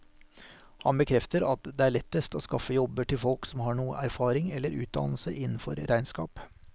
Han bekrefter at det er lettest å skaffe jobber til folk som har noe erfaring eller utdannelse innenfor regnskap.